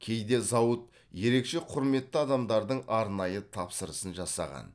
кейде зауыт ерекше құрметті адамдардың арнайы тапсырысын жасаған